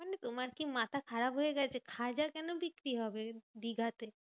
তোমার কি মাথা খারাপ হয়ে গেছে? খাজা কেন বিক্রি হবে দীঘাতে?